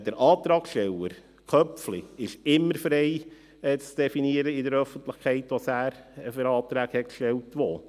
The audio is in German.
Der Antragssteller Köpfli ist immer frei, in der Öffentlichkeit zu definieren, welche Anträge er wo gestellt hat.